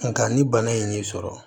Nka ni bana ye nin sɔrɔ